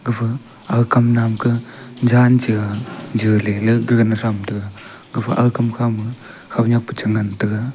gafa ag kam naam kah jan cha jaley la gagan thamtaga gafa ag kam khama khonyak pa changantaga.